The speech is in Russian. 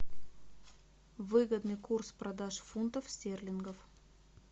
выгодный курс продаж фунтов стерлингов